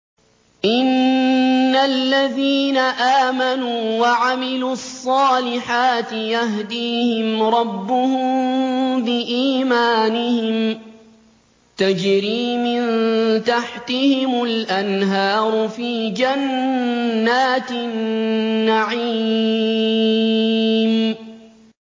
إِنَّ الَّذِينَ آمَنُوا وَعَمِلُوا الصَّالِحَاتِ يَهْدِيهِمْ رَبُّهُم بِإِيمَانِهِمْ ۖ تَجْرِي مِن تَحْتِهِمُ الْأَنْهَارُ فِي جَنَّاتِ النَّعِيمِ